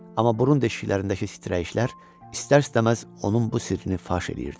Amma burun deşiklərindəki səyirəyişlər istər-istəməz onun bu sirrini faş eləyirdi.